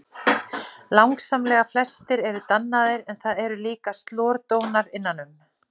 Langsamlega flestir eru dannaðir en það eru líka slordónar innan um.